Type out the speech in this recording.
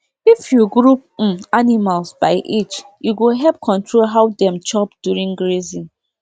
if you group um animals by age e go help control how dem chop during grazing